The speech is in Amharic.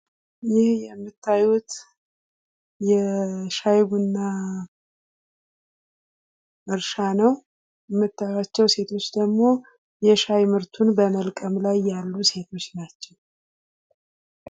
ይህ የምታዩት የሻይ ቡና እርሻ ነው ።የምትመለከቷቸው ሴቶች ደግሞ የሻይ ምርቱን በመልቀም ላይ ያሉ ሴቶች ናቸው ።